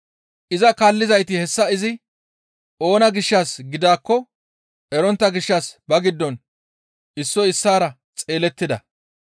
Iza kaallizayti hessa izi oona gishshas gidaakko erontta gishshas ba giddon issoy issaara xeelettida.